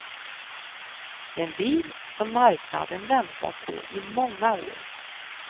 En bil som marknaden väntat på i många år.